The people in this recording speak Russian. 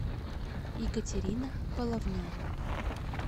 екатерина половнева